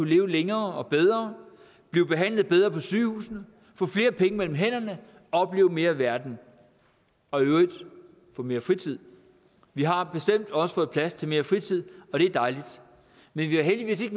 leve længere og bedre blive behandlet bedre på sygehusene få flere penge mellem hænderne opleve mere af verden og i øvrigt få mere fritid vi har bestemt også fået plads til mere fritid og det er dejligt men vi er heldigvis ikke